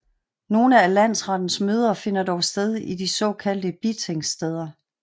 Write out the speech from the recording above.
Nogle af Landsrettens møder finder dog sted i de så kaldte bitingsteder